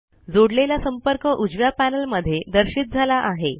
जोडलेला संपर्क उजव्या पैनल मध्ये दर्शित झाला आहे